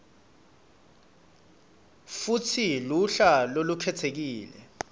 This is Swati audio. futsi luhla lolukhetsekile